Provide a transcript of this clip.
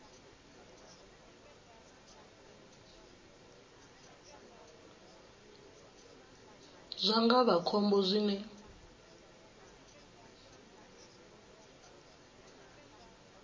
zwa nga vha khombo zwine